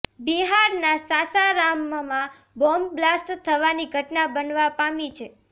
બિહારના સાસારામમાં bomb blast થવાની ઘટના બનવા પામી છે